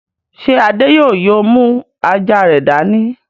Ṣé Adé yóò yóò mú àjà rẹ̀ dání?